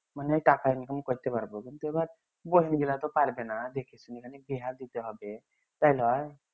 মানে টাকা income কইরতে পারবো কিন্তু এইবার বহীন গিলা তো পারবেনা দেখে শুনে বিহা দিতে হবে